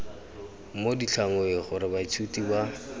mo ditlhangweng gore baithuti ba